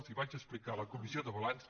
els ho vaig explicar a la comissió de balanç